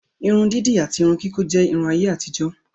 Irun dídì àti Irun kíkọ́ jẹ́ Irun ayé àtijó